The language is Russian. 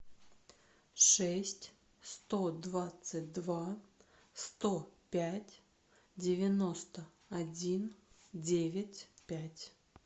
шесть сто двадцать два сто пять девяносто один девять пять